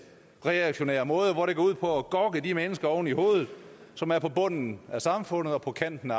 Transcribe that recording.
reaktionær måde hvor det går ud på at gokke de mennesker oven i hovedet som er på bunden af samfundet og på kanten